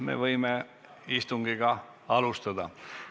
Me võime alustada istungit.